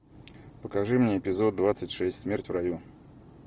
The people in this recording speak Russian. покажи мне эпизод двадцать шесть смерть в раю